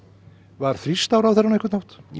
var þrýst á ráðherrann á einhvern hátt nei